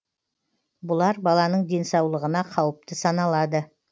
бұлар баланың денсаулығына қауіпті саналады